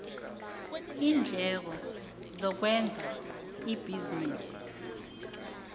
iindleko zokwenza ibhizinisi